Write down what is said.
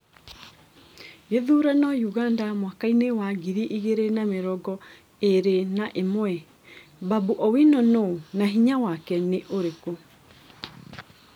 Gĩthurano Ũganda mwakainĩ wa ngiri igĩrĩ na mĩrongo ĩrĩ na ĩmwe : Babu Owino nũ na hinya wake nĩ ũrĩkũ?